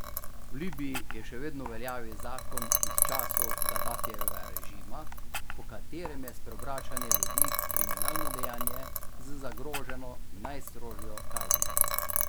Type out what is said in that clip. V Libiji je še vedno v veljavi zakon iz časov Gadafijevega režima, po katerem je spreobračanje ljudi kriminalno dejanje z zagroženo najstrožjo kaznijo.